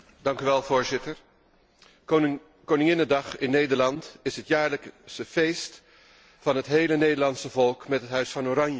Voorzitter, koninginnedag in Nederland is het jaarlijkse feest van het hele Nederlandse volk met het Huis van Oranje.